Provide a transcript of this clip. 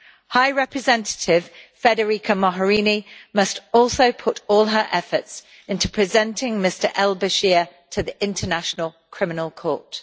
High Representative Federica Mogherini must also put all her efforts into presenting Mr al-Bashir to the International Criminal Court.